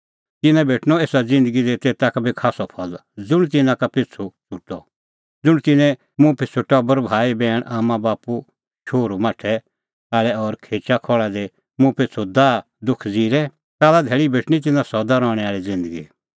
तिन्नां भेटणअ एसा ज़िन्दगी दी शौ गुणा फल ज़ुंण तिन्नैं मुंह पिछ़ू टबर भाईबैहणी आम्मांबाप्पू शोहरूमाठै आल़ै और खेचाखहल़ा दी मुंह पिछ़ू दाहदुख ज़िरे काल्ला धैल़ी भेटणीं तिन्नां सदा रहणैं आल़ी ज़िन्दगी